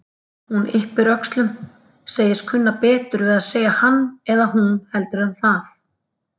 Hún yppir öxlum, segist kunna betur við að segja hann eða hún heldur en það.